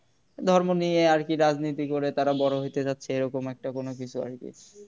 ধর্ম নিয়ে আর কি রাজনীতি করে তারা বড় হইতে চাচ্ছে এরকম একটা কোন কিছু আরকি